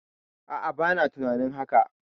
A'a, bana tunanin haka.